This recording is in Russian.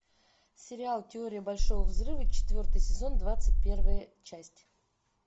сериал теория большого взрыва четвертый сезон двадцать первая часть